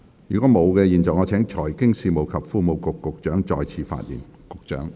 如果沒有，我現在請財經事務及庫務局局長再次發言。